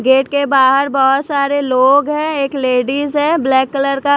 gate के बाहर बहुत सारे लोग हैं एक लेडिस है ब्लैक कलर का--